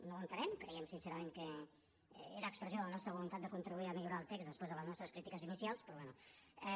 no ho entenem creiem sincerament que era expressió de la nostra voluntat de contribuir a millorar el text després de les nostres crítiques inicials però bé